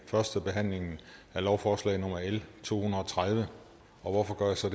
førstebehandlingen af lovforslag nummer l to hundrede og tredive og hvorfor gør jeg så